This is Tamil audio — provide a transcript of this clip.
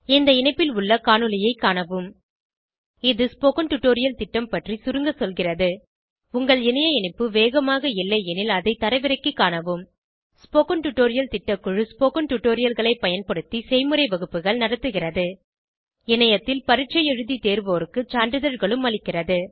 இந்த இணைப்பில் உள்ள காணொளியைக் காணவும் இது ஸ்போகன் டுடோரியல் திட்டம் பற்றி சுருங்க சொல்கிறது உங்கள் இணைய இணைப்பு வேகமாக இல்லையெனில் அதை தரவிறக்கிக் காணவும் ஸ்போகன் டுடோரியல் திட்டக்குழு ஸ்போகன் டுடோரியல்களைப் பயன்படுத்தி செய்முறை வகுப்புகள் நடத்துகிறது இணையத்தில் பரீட்சை எழுதி தேர்வோருக்கு சான்றிதழ்களும் அளிக்கிறது